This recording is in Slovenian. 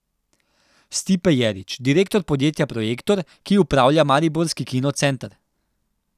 Stipe Jerić, direktor podjetja Projektor, ki upravlja mariborski kino center.